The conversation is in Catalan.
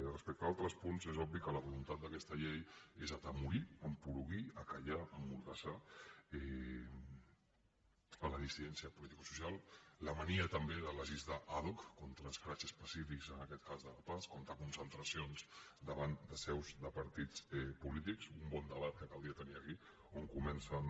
respecte a altres punts és obvi que la voluntat d’aquesta llei és atemorir esporuguir fer callar emmordassar la dissidència politicosocial la mania també de legislar ad hocaquest cas de la pah contra concentracions davant de seus de partits polítics un bon debat que caldria tenir aquí on comença no